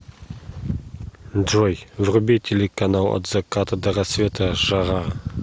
джой вруби телеканал от заката до рассвета жара